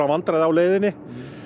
vandræðum á leiðinni